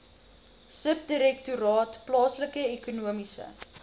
subdirektoraat plaaslike ekonomiese